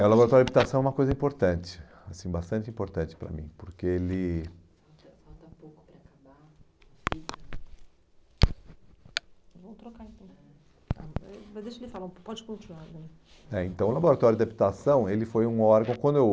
É, o laboratório de adaptação é uma coisa importante, assim, bastante importante para mim, porque ele... Pode continuar... É, então, o laboratório de habitação, ele foi um órgão, quando eu...